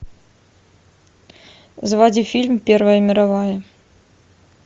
заводи фильм первая мировая